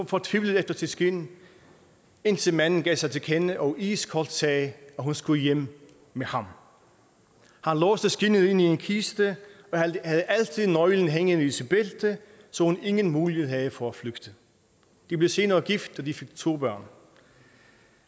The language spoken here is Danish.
fortvivlet efter sit skind indtil manden gav sig til kende og iskoldt sagde at hun skulle hjem med ham han låste skindet ned i en kiste og havde altid nøglen hængende i sit bælte så hun ingen mulighed havde for at flygte de blev senere gift og de fik to børn